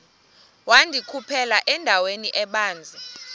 wandikhuphela endaweni ebanzi